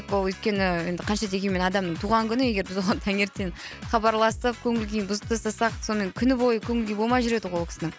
ол өйткені енді қанша дегенмін адамның туған күні егер біз оған таңертең хабарласып көңіл күйін бұзып тастасақ сонымен күні бойы көніл күйі болмай жүреді ғой ол кісінің